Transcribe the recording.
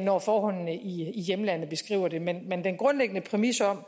når forholdene i hjemlandet betinger det men den grundlæggende præmis om